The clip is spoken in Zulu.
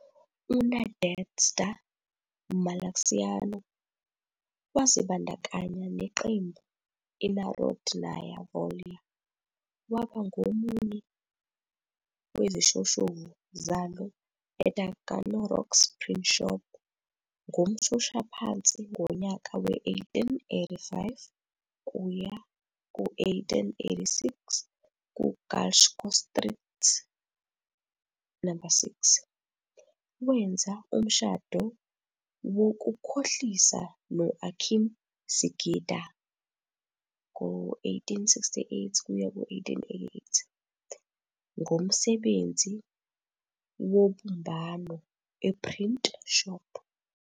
UNadezhda Malaxiano wazibandakanya neqembu iNarodnaya Volya, waba ngomunye wezishoshovu zalo eTaganrog 's printshop ngomshoshaphansi ngonyaka we-1885-1886 ku- "Glushko Street 6."Wenza umshado wokukhohlisa no- Akim Sigidango 1868-1888, ngomsebenzi wobumbano e-printshop.